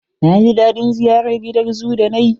Na ji daɗin ziyarar gidan zoo da nayi.